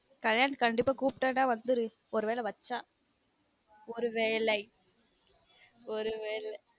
கல்யாணம் கண்டீப்பா குப்டான வந்துரு ஒரு வேளை வச்சா ஒரு வேளை ஒரு வேள